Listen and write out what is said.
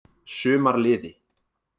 Sumarliði